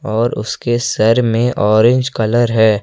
और उसके सर में ऑरेंज कलर है।